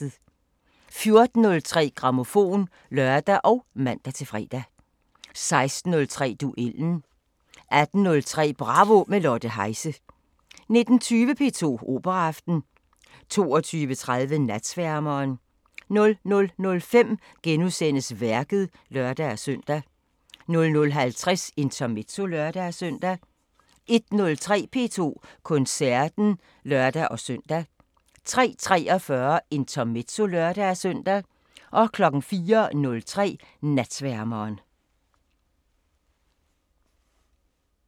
14:03: Grammofon (lør og man-fre) 16:03: Duellen 18:03: Bravo – med Lotte Heise 19:20: P2 Operaaften 22:30: Natsværmeren 00:05: Værket *(lør-søn) 00:50: Intermezzo (lør-søn) 01:03: P2 Koncerten (lør-søn) 03:43: Intermezzo (lør-søn) 04:03: Natsværmeren